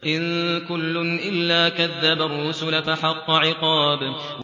إِن كُلٌّ إِلَّا كَذَّبَ الرُّسُلَ فَحَقَّ عِقَابِ